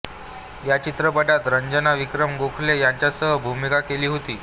या चित्रपटात रंजना विक्रम गोखले यांच्यासह भूमिका केली होती